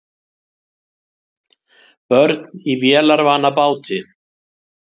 Börn í vélarvana báti